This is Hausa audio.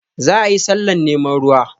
Za a yi sallah neman ruwa